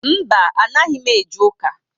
Mba, anaghị m eje ụka